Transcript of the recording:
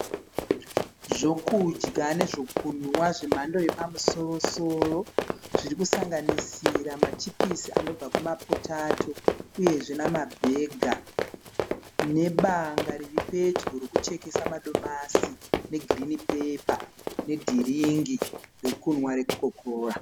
Zvokudya nezvokunwa zvemhando yepamusoro soro. Zvirisanganisira mapichisi anobva kumapotato uyezve nemabhega. Nebanga riripedyo rokuchekesa madomasi negirinhi pepa nedhiringi rekunwa rekokakora.